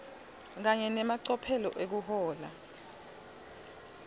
kanye nemacophelo ekuhlola